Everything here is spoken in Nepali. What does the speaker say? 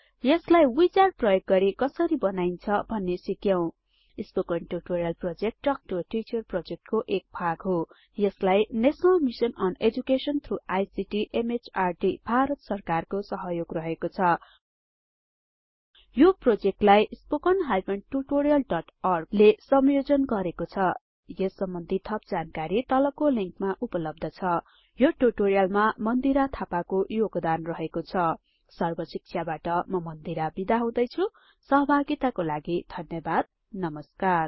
यसलाई विजार्ड प्रयोग गरी कसरी बनाईन्छ भन्ने सिक्यौं spoken tutorial project talk to a teacher प्रोजेक्टको एक भाग हो यसलाई national mission on education through ICT MHRD Bharat सरकारको सहयोग रहेको छ यो प्रोजेक्टलाई httpspoken tutorialorg ले संयोजन गरेको छ यस सम्बन्धि थप जानकारी तलको लिंकमा उपलब्ध छ यो ट्युटोरियलमा मन्दिरा थापाको योगदान रहेको छ सर्ब शिक्षाबाट म मन्दिरा बिदा हुदैछु सहभागिताको लागि धन्यवाद नमस्कार